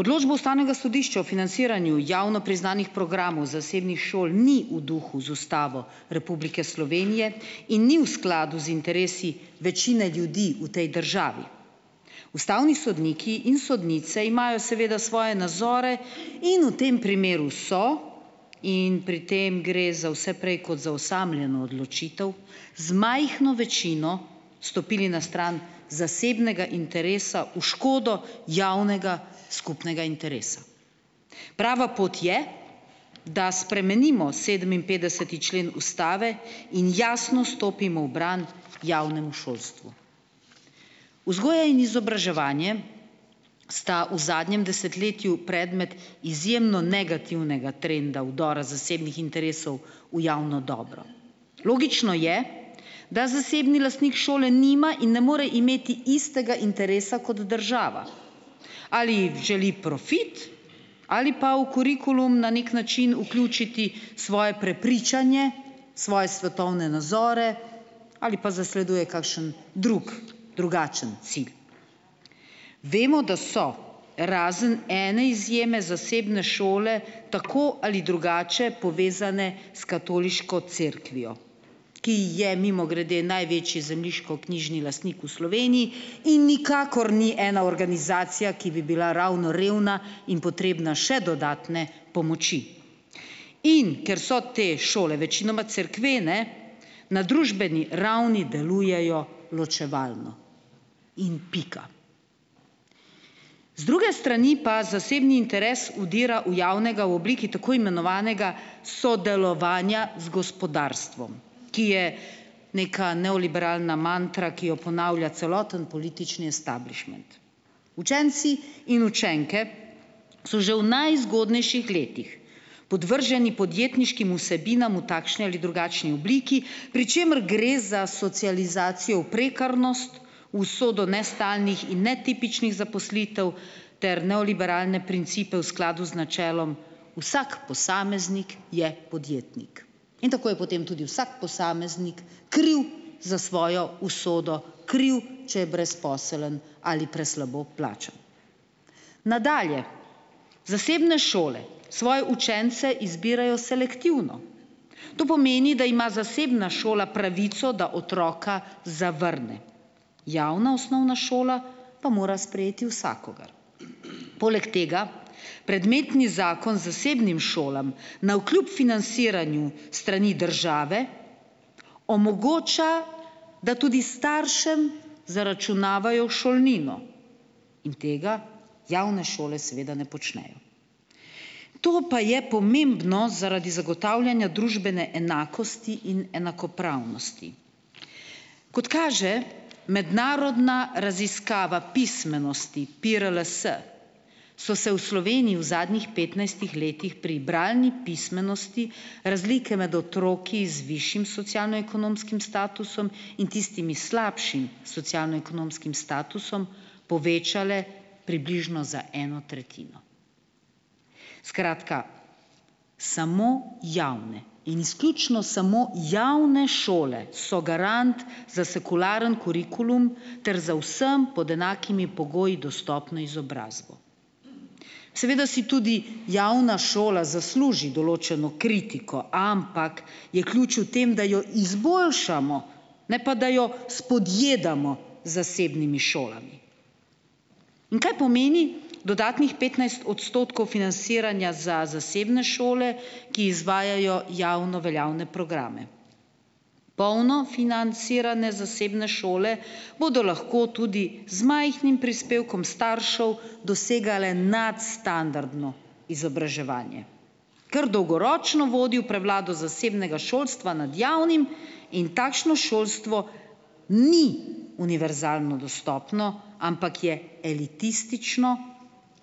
Odločbo ustavnega sodišča o financiranju javno priznanih programov zasebnih šol ni v duhu z Ustavo Republike Slovenije in ni v skladu z interesi večine ljudi v tej državi. Ustavni sodniki in sodnice imajo seveda svoje nazore in v tem primeru so, in pri tem gre za vse prej kot za osamljeno odločitev, z majhno večino stopili na stran zasebnega interesa v škodo javnega skupnega interesa. Prava pot je, da spremenimo sedeminpetdeseti člen ustave in jasno stopimo v bran javnemu šolstvu. Vzgoja in izobraževanje sta v zadnjem desetletju predmet izjemno negativnega trenda vdora zasebnih interesov v javno dobro. Logično je, da zasebni lastnik šole nima in ne more imeti istega interesa kot država. Ali želi profit ali pa v kurikulum na neki način vključiti svoje prepričanje, svoje svetovne nazore ali pa zasleduje kakšen drug, drugačen cilj. Vemo, da so, razen ene izjeme, zasebne šole tako ali drugače povezane s katoliško cerkvijo, ki ji je, mimogrede, največji zemljiškoknjižni lastnik v Sloveniji in nikakor ni ena organizacija, ki bi bila ravno revna in potrebna še dodatne pomoči. In ker so te šole večinoma cerkvene, na družbeni ravni delujejo ločevalno in pika. Z druge strani pa zasebni interes vdira v javnega v obliki tako imenovanega sodelovanja z gospodarstvom, ki je neka neoliberalna mantra, ki jo ponavlja celoten politični esteblišment. Učenci in učenke so že v najzgodnejših letih podvrženi podjetniškim vsebinam v takšni ali drugačni obliki, pri čemer gre za socializacijo v prekarnost, usodo nestalnih in netipičnih zaposlitev ter neoliberalne principe, v skladu z načelom "vsak posameznik je podjetnik" in tako je potem tudi vsak posameznik kriv za svojo usodo, kriv, če je brezposeln ali preslabo plačan. Nadalje, zasebne šole svoje učence izbirajo selektivno. To pomeni, da ima zasebna šola pravico, da otroka zavrne. Javna osnovna šola pa mora sprejeti vsakogar. Poleg tega predmetni zakon zasebnim šolam navkljub financiranju s strani države omogoča, da tudi staršem zaračunavajo šolnino in tega javne šole seveda ne počnejo. To pa je pomembno zaradi zagotavljanja družbene enakosti in enakopravnosti. Kot kaže mednarodna raziskava pismenosti PIRLS, so se v Sloveniji v zadnjih petnajstih letih pri bralni pismenosti razlike med otroki z višjim socialno-ekonomskim statusom in tistimi s slabšim socialno-ekonomskim statusom povečale približno za eno tretjino. Skratka, samo javne in izključno samo javne šole so garant za sekularen kurikulum ter za vsem pod enakimi pogoji dostopno izobrazbo. Seveda si tudi javna šola zasluži določeno kritiko, ampak je ključ v tem, da jo izboljšamo, ne pa da jo spodjedamo z zasebnimi šolami. In kaj pomeni, dodatnih petnajst odstotkov financiranja za zasebne šole, ki izvajajo javno veljavne programe? Polno financiranje zasebne šole bodo lahko tudi z majhnim prispevkom staršev, dosegale nadstandardno izobraževanje, kar dolgoročno vodi v prevlado zasebnega šolstva nad javnim in takšno šolstvo ni univerzalno dostopno, ampak je elitistično